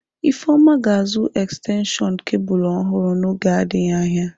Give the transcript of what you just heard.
Ifeoma ga-azụ ekstenshọn kebụlụ ọhụrụ n'oge adịghị anya.